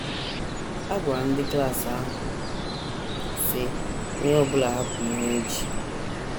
Agwara m ndị klas ahụ, sị: ‘ Onye ọ bụla hapụ ihe o ji.